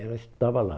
Ela estudava lá.